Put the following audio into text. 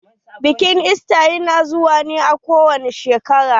Bikin ista ya na zuwa ne kowace shekara.